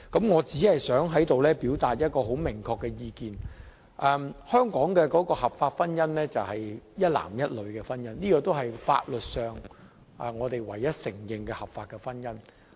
我只想在此表達一個明確意見，便是香港合法的婚姻是指一男一女的婚姻，這亦是法律上我們唯一承認的合法婚姻。